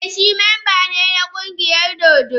Ee, shi mamba ne na kungiyar dodo.